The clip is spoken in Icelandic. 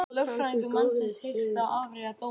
Lögfræðingur mannsins hyggst áfrýja dómnum